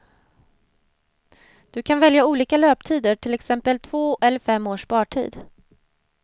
Du kan välja olika löptider, till exempel två eller fem års spartid.